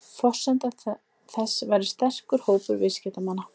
Forsenda þess væri sterkur hópur viðskiptamanna